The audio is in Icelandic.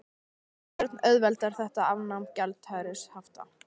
Þorbjörn: Auðveldar þetta afnám gjaldeyrishafta?